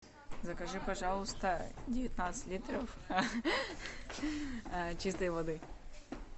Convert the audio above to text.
закажи пожалуйста девятнадцать литров чистой воды